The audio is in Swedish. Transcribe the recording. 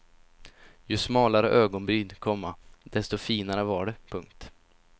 Ju smalare ögonbryn, komma desto finare var det. punkt